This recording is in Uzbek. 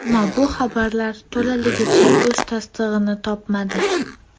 Ammo bu xabarlar to‘laligicha o‘z tasdig‘ini topmadi.